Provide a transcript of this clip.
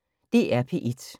DR P1